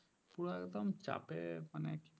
পুরো একদম চাপে মানে